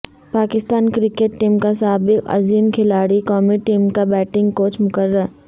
Pakistan cricket team کا سابق عظیم کھلاڑی قومی ٹیم کا بیٹنگ کوچ مقرر